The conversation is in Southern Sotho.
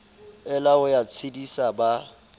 ela ho ya tshedisa ba